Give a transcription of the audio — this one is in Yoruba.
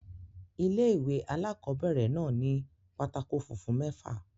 Ilé-ìwé alákobẹ̀rẹ̀ náà ni pátákó funfun mẹ́fà